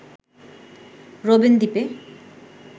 Robben দ্বীপে